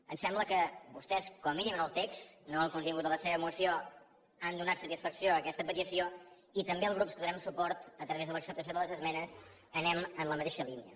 em sembla que vostès com a mínim en el text no en el contingut de la seva moció han donat satisfacció a aquesta petició i també els grups que donem suport a través de l’acceptació de les esmenes anem en la mateixa línia